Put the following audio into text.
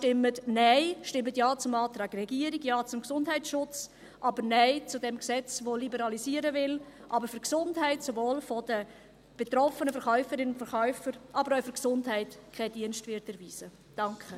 Stimmen Sie deshalb Nein; stimmen Sie Ja zum Antrag der Regierung, Ja zum Antrag zum Gesundheitsschutz, aber Nein zum Gesetz, das liberalisieren will, aber der Gesundheit und dem Wohl der betroffenen Verkäuferinnen und Verkäufer keinen Dienst erweisen wird.